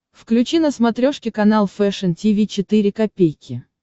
включи на смотрешке канал фэшн ти ви четыре ка